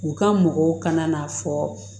U ka mɔgɔw kana n'a fɔ